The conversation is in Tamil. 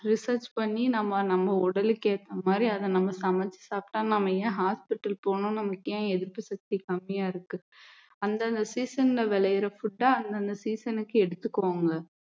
research பண்ணி நாம நம்ம உடலுக்கு ஏத்த மாதிரி அதை நம்ம சமைச்சு சாப்பிட்டா நாம ஏன் hospital போகணும் நமக்கு எதிர்த்து சக்தி கம்மியா இருக்கு அந்தந்த season ல விளையுற food அ அந்தந்த season க்கு எடுத்துக்கோங்க